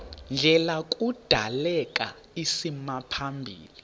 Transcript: ndlela kudaleka isimaphambili